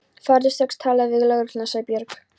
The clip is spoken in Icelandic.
Farðu strax og talaðu við lögregluna, sagði Björg.